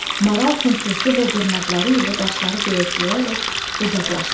Maral fınxırtı və dırnaqları ilə daşları döyəcləyərək uzaqlaşdı.